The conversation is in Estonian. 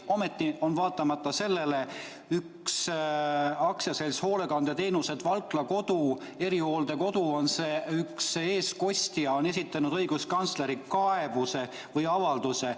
Ometi on üks AS-i Hoolekandeteenused Valkla Kodu – see on erihooldekodu – eestkostja esitanud õiguskantslerile kaebuse või avalduse.